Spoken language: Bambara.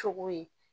Cogo ye